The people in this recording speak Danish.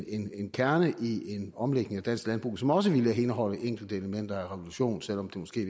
en kerne i en omlægning af dansk landbrug som også ville indeholde enkelte elementer af revolution selv om det måske